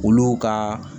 Olu ka